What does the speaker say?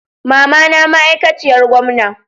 mamana ma aikaciyar gomna.